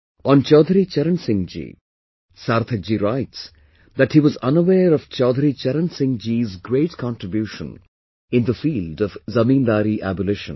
On Chaudhary Charan Singh ji, Sarthak ji writes that he was unaware of Chaudhary Charan Singh ji's great contribution in the field of zamindari abolition